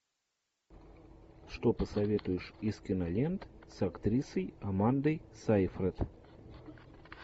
что посоветуешь из кинолент с актрисой амандой сайфред